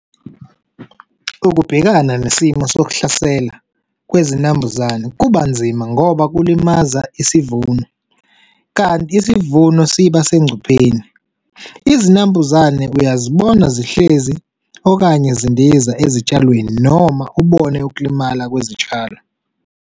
Ukubhekana nesimo sokuhlasela kwezinambuzane kubanzima ngoba kulimaza isivuno kanti isivuno sibasengcupheni. Izinambuzane uyazibona zihlezi okanye zindiza ezitshalweni noma ubone ukulimala kwezitshalo.